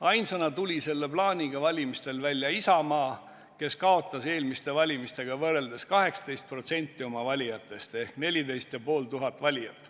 Ainsana tuli selle plaaniga valimistel välja Isamaa, kes kaotas eelmiste valimistega võrreldes 18% oma valijatest ehk 14 500 valijat.